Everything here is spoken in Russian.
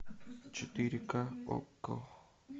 четыре ка окко